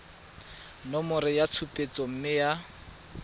nomoro ya tshupetso mme ya